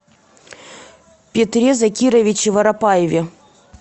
петре закировиче воропаеве